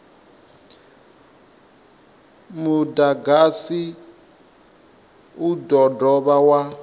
mudagasi u do dovha wa